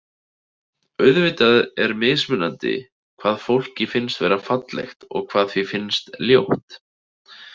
Auðvitað er mismunandi hvað fólki finnst vera fallegt og hvað því finnst ljótt.